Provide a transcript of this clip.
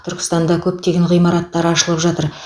түркістанда көптеген ғимараттар ашылып жатыр